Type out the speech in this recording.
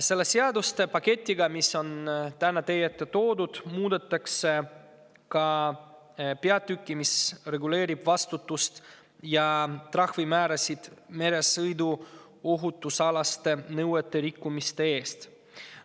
Selle seaduste paketiga, mis on täna teie ette toodud, muudetakse ka peatükki, mis reguleerib vastutust ja meresõiduohutuse nõuete rikkumiste eest tehtavate trahvide määrasid.